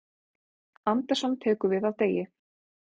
Andersson tekur við af Degi